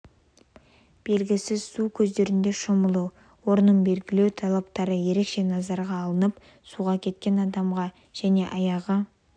белгісіз су көздерінде шомылу орнын белгілеу талаптары ерекше назарға алынып суға кеткен адамға және аяғы